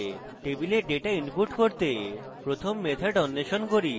টেবিলে data input করতে প্রথম method অন্বেষণ করি